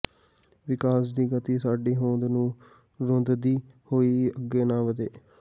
ਵਿਕਾਸ ਦੀ ਗਤੀ ਸਾਡੀ ਹੋਂਦ ਨੂੰ ਰੌਂਦਦੀ ਹੋਈ ਅੱਗੇ ਨਾ ਵੱਧੇ